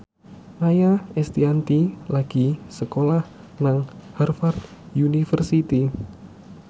Maia Estianty lagi sekolah nang Harvard university